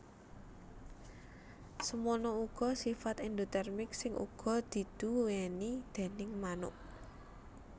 Semono uga sifat endotermik sing uga diduwéni déning manuk